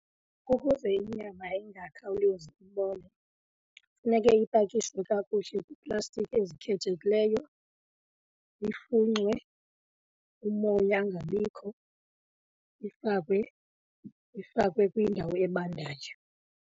Ukuze inyama ingakhawulezi ukubola funeke ipakishwe kakuhle kwiiplastiki ezikhethekileyo, ifunxwe umoya angabikho, ifakwe, ifakwe kwindawo ebandayo.